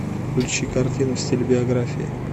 включи картину в стиле биографии